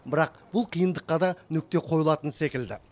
бірақ бұл қиындыққа да нүкте қойылатын секілді